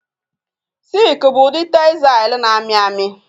Silk bụ ụdị textle na-amị amị